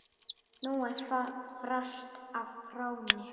Nú er frost á Fróni